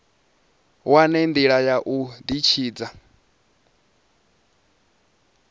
wane ndila ya u ditshidza